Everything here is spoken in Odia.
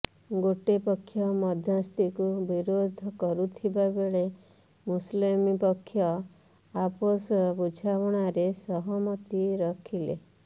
ଗୋଟେ ପକ୍ଷ ମଧ୍ୟସ୍ଥିକୁ ବିରୋଧ କରୁଥିବା ବେଳେ ମୁସଲିମ ପକ୍ଷ ଆପୋଷ ବୁଝାବୁଣାରେ ସହମତି ରଖିଲେ